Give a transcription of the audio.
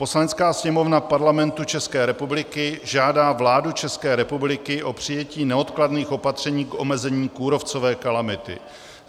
"Poslanecká sněmovna Parlamentu České republiky žádá vládu České republiky o přijetí neodkladných opatření k omezení kůrovcové kalamity.